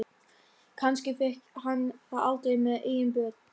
Kannski fékk hann það aldrei með eigin börn.